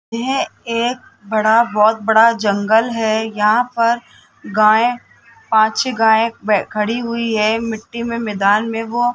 यह एक बड़ा बहोत बड़ा जंगल है यहां पर गायें पान छे गाये व खड़ी हुई है मिट्टी में मैदान में वो --